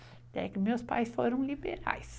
Até que meus pais foram liberais.